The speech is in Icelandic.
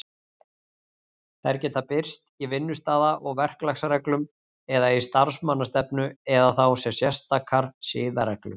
Þær geta birst í vinnustaða- og verklagsreglum eða í starfsmannastefnu, eða þá sem sérstakar siðareglur.